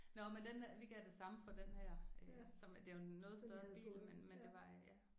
Nåh men den vi gav det samme for den her øh som det er jo en noget større bil men men det var øh ja